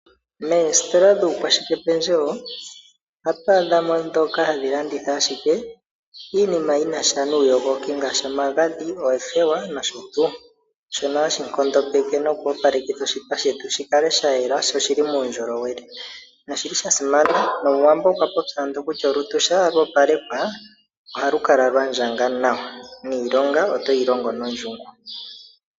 Meesitola dhuukwashike pendjewo ohatu adhamo owala dhoka hadhi landitha ashikeiinima yanika uundjolowele ngaashi omagadhi, oothewa nosho tuu shono hashi nkondopeke noku opaleka oshipa shetu shikale sha yela sho oshili muundjolowele nosholi shasimana nomuWambo okwa popya ando kutya ngele olutu oluli lwa opalekwa niilonga otoyi longo nondjungu.